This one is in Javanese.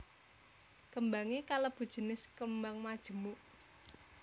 Kembangé kalebu jinis kembang majemuk